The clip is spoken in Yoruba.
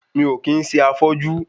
Mi ò kí ń ṣe afọ́jú